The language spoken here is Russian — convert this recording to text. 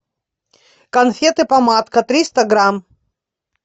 конфеты помадка триста грамм